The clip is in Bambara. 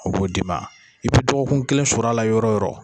O b'o d'i ma. I bɛ dɔgɔkun kelen sɔr'a la yɔrɔ yɔrɔ.